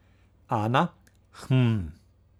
Ana: 'Hm ...